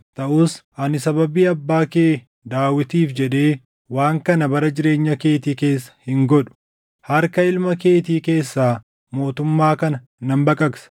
Taʼus ani sababii abbaa kee Daawitiif jedhee waan kana bara jireenya keetii keessa hin godhu. Harka ilma keetii keessaa mootummaa kana nan baqaqsa.